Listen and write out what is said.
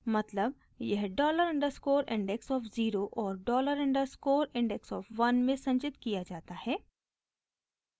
मतलब यह dollar underscore index of zero और डॉलर अंडरस्कोर इंडेक्स ऑफ़ 1 में संचित किया जाता है